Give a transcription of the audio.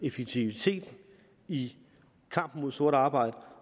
effektiviteten i kampen mod sort arbejde